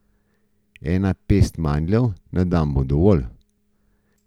Ena pest mandljev na dan bo dovolj.